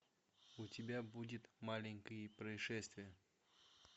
у тебя будет маленькие происшествия